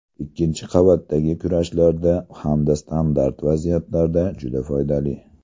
Ikkinchi qavatdagi kurashlarda hamda standart vaziyatlarda juda foydali”.